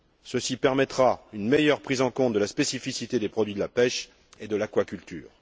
Ceci permettra une meilleure prise en compte de la spécificité des produits de la pêche et de l'aquaculture.